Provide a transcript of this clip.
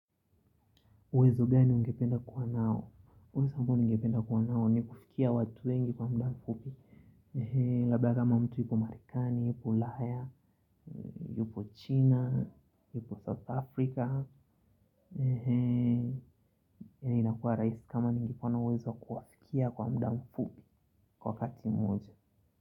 Uwezo gani ungependa kuwa nao? Uwezo ambao ningependa kuwa nao, ni kufikia watu wengi kwa muda mfupi. Labda kama mtu yupo Marekani, ulaya, yupo China, yupo South Africa. Inakua rahisi kama ningekuwa na uwezo wa kuwafikia kwa muda mfupi kwa wakati moja.